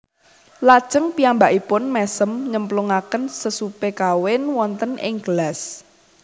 Lajeng piyambakipun mésem nyemplungaken sesupé kawin wonten ing gelas